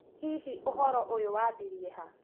Hihi ũhoro ũyũ wambirie ha?